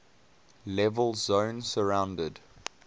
level zone surrounded